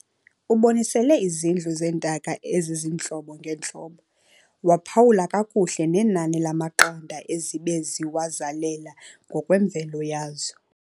Ubonisele izindlu zeentaka ezizintlobo ngeentlobo, waphawula kakuhle nenani lamaqanda ezibe ziwazalela ngokwemvelo yazo.